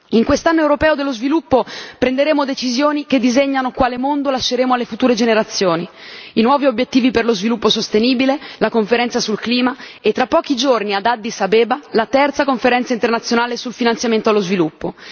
In quest'Anno europeo dello sviluppo prenderemo decisioni che disegnano quale mondo lasceremo alle future generazioni i nuovi obiettivi per lo sviluppo sostenibile, la conferenza sul clima e, tra pochi giorni ad Addis Abeba, la terza Conferenza internazionale sul finanziamento allo sviluppo.